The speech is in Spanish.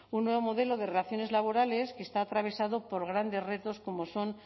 un nuevo modelo de relaciones laborales que está atravesado por grandes retos como son